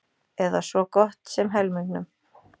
Eða svo gott sem helmingnum.